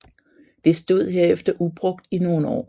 Det stod herefter ubrugt i nogle år